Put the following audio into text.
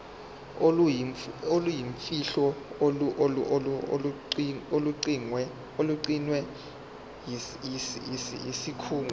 oluyimfihlo olugcinwe yisikhungo